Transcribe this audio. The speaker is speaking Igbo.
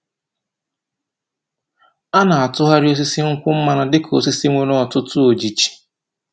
A na-atụgharị osisi nkwụ mmanụ dị ka osisi nwere ọtụtụ ojiji.